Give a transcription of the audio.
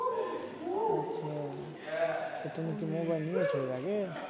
আচ্ছা তো তুমি কি mobile নিয়েছ এর আগে